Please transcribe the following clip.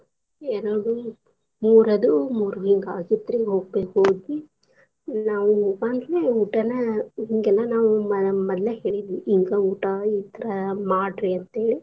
ಎರಡು, ಮೂರ್ ಅದು ಮೂರ್ ಹಿಂಗಾಗಿತ್ ರಿ ಹೋಗಿ ನಾವು ಆವಾಗ್ಲೇ ಊಟಾನ ಹಿಂಗೆಲ್ಲ ನಾವು ಮ~ ಮದ್ಲ ಹೇಳಿದ್ವಿ ಹಿಂಗ ಊಟಾ ಇದ್ರ್ ಮಾಡ್ರಿ ಅಂತೇಳಿ.